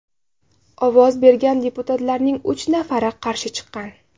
Ovoz bergan deputatlarning uch nafari qarshi chiqqan.